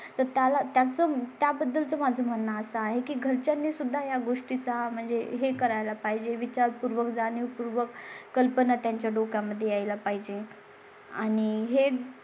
तर त्याला त्या चं त्या बद्दलचं माझं म्हणणं असं आहे की तुम्ही सुद्धा या गोष्टी चा म्हणजे हे करायला पाहिजे. विचार पूर्वक जाणीवपूर्वक कल्पना त्यांच्या डोक्या मध्ये यायला पाहिजे आणि हे